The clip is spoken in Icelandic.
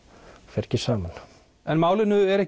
fer ekki saman en málinu er